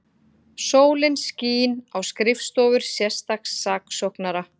Sólin skín á skrifstofur sérstaks saksóknara